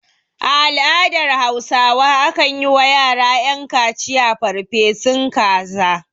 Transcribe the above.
A al'adar hausawa akan yi wa yara ƴan kaciya farfesun kaza